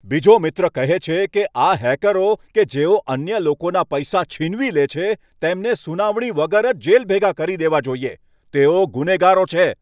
બીજો મિત્ર કહે છે કે, આ હેકરો કે જેઓ અન્ય લોકોના પૈસા છીનવી લે છે તેમને સુનાવણી વગર જ જેલ ભેગા કરી દેવા જોઈએ. તેઓ ગુનેગારો છે.